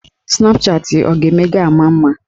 Snapchatị ọ ga-eme ga-ama mma.